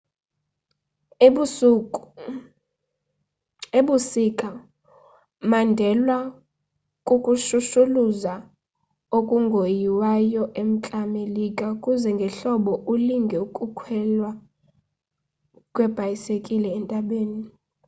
ebusika mandelwa kukushushuluza okungoyiwayo e-mntla melika kuze ngehlobo ulinge ukukhwelwa kweebhayisekile entabeni